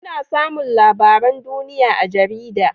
Ana samun labaran duniya a jarida